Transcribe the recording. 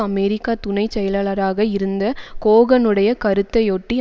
அமெரிக்க துணை செயலாளராக இருந்த கோகனுடைய கருத்தையொட்டி